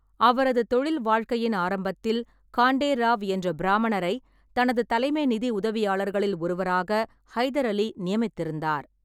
அவரது தொழில் வாழ்க்கையின் ஆரம்பத்தில், காண்டே ராவ் என்ற பிராமணரை தனது தலைமை நிதி உதவியாளர்களில் ஒருவராக ஹைதர் அலி நியமித்திருந்தார்.